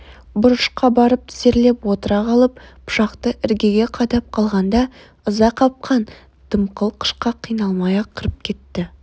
бұрышқа барып тізерлеп отыра қалып пышақты іргеге қадап қалғанда ыза қапқан дымқыл қышқа қиналмай-ақ кіріп кетті